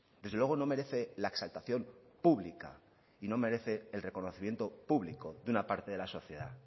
desde luego no merece la exaltación pública y no merece el reconocimiento público de una parte de la sociedad